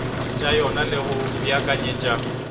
tša yona le go beakanyetša